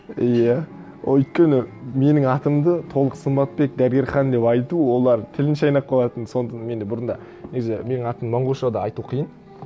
иә ол өйткені менің атымды толық сымбатбек дәберхан деп айту олар тілін шайнап қалатын сондықтан мен де бұрында негізі менің атым монғолша да айту қиын